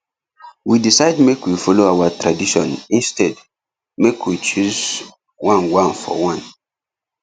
we decide make we follow our tradition instead make we choose one one for one